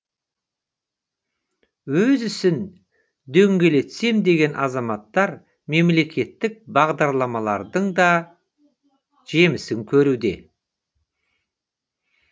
өз ісін дөңгелетсем деген азаматтар мемлекеттік бағдарламалардың да жемісін көруде